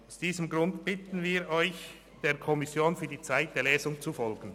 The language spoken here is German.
Aus diesem Grund bitten wir Sie, der Kommission für die zweite Lesung zu folgen.